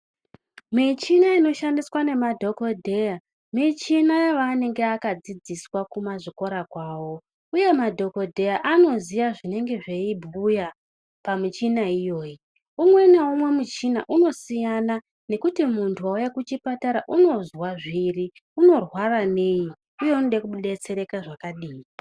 Muchina inoshandiswa nemadhokoya michina yavanenge vakadzidziswa kuma zvikora kwavo uye madhokodheya michini yavanenge akadzidziswa kuma zvikora kwovo uye madhokodheya anoziya zvinenge zveyibhuya pamuchina iyoyi umwe naumwe muchina unosiya nekuti muntu wauya kuchipatara unozwa zviri unorwara nei uye unoda kudetsereka zvakadini.